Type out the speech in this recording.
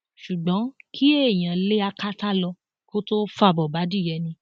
ṣùgbọn kí èèyàn lé akátá lọ kó tóó fàbọ bá adìẹ ni